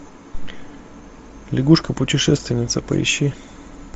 лягушка путешественница поищи